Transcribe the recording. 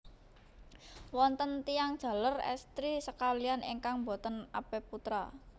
Wonten tiyang jaler èstri sakalihan ingkang boten apeputra